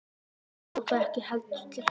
Eddu kom það ekki heldur til hugar.